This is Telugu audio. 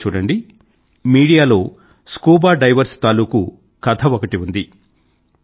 మీరే చూడండి మీడియాలో స్కూబా డైవర్స్ తాలూకూ కథ ఒకటి ఉంది